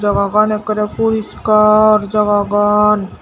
jaga gan ekkore porishkar jagagan.